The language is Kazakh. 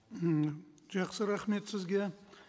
м жақсы рахмет сізге